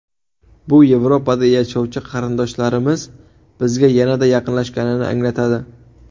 Bu Yevropada yashovchi qarindoshlarimiz bizga yanada yaqinlashganini anglatadi.